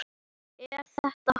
Er þetta hægt?